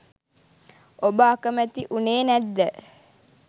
ඔබ අකැමැති වුණේ නැද්ද?